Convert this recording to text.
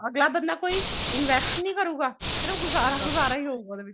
ਜਦ ਤੱਕ ਨਾ ਕੋਈ invest ਨੀ ਕਰੂਗਾ ਸਿਰਫ ਗੁਜ਼ਾਰਾ ਗੁਜ਼ਾਰਾ ਹੀ ਹੋਊਗਾ ਉਹਦੇ ਵਿੱਚ